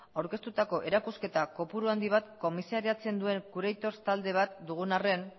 aurkeztutako erakusketa kopuru handi bat komisariatzen duen proiektu talde bat dugun arren